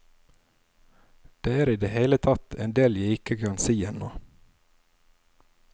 Det er i det hele tatt en del jeg ikke kan si ennå.